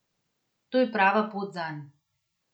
To je prava pot zanj.